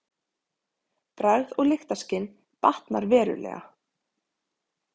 Bragð og lyktarskyn batnar verulega.